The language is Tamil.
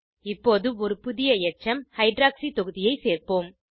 இப்போது ஒரு புதிய எச்சம் ஹைட்ராக்சி தொகுதியை சேர்ப்போம்